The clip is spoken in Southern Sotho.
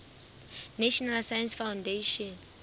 national science foundation